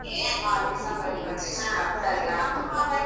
ಹ ಸರಿ ಆಯ್ತು.